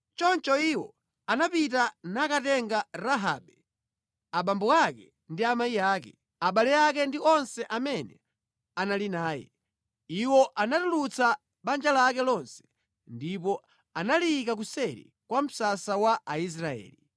Choncho iwo anapita nakatenga Rahabe, abambo ake ndi amayi ake, abale ake ndi onse amene anali naye. Iwo anatulutsa banja lake lonse ndipo analiyika kuseri kwa msasa wa Aisraeli.